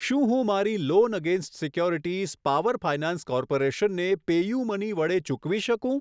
શું હું મારી loan against securities power finance corporation ને પેયુમની વડે ચૂકવી શકું?